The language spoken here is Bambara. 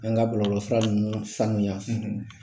An ka bɔlɔlɔ fura nunnu sanuya.